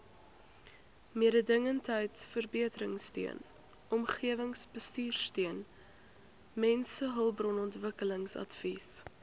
mededingendheidsverbeteringsteun omgewingsbestuursteun mensehulpbronontwikkelingsadvies